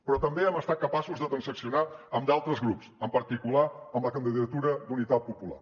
però també hem estat capaços de transaccionar amb d’altres grups en particular amb la candidatura d’unitat popular